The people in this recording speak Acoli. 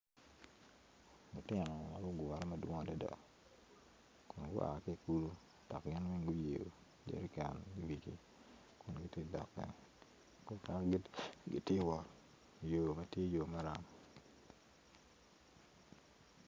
Lutino ma gugure madwong adada gua ki i kulu dok gin weng guyeyo jerican i wigi kun gitye ka dok gang mukene gitye ka wot i yo ma tye yo maram.